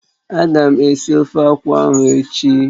Ága m esi ofe akwụ ahụ echi.